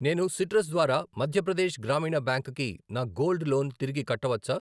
నేను సిట్రస్ ద్వారా మధ్య ప్రదేశ్ గ్రామీణ బ్యాంక్ కి నా గోల్డ్ లోన్ తిరిగి కట్టవచ్చా?